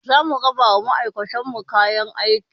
Za mu raba wa ma'aikatan mu sabon kayan aiki